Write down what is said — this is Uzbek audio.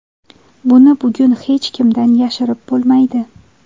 Buni bugun hech kimdan yashirib bo‘lmaydi.